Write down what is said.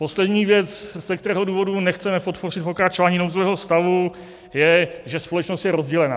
Poslední věc, z kterého důvodu nechceme podpořit pokračování nouzového stavu, je, že společnost je rozdělená.